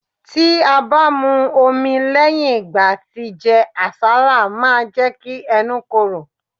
Tí a bá mu omi lẹ́yìn ìgbà tí jẹ àsálà máa jẹ́ kí ẹnu korò.